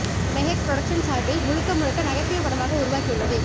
Mehek productions சார்பில் முழுக்க முழுக்க நகைச்சுவை படமாக உருவாகியுள்ளது